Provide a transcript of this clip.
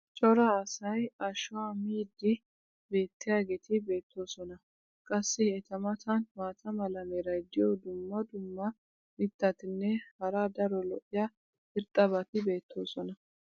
cora asay ashuwa miidi beetiyaageeti beetoosona. qassi eta matan maata mala meray diyo dumma dumma mitatinne hara daro lo'iya irxxabati beetoosona.